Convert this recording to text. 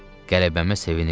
Qələbəmə sevinirdim.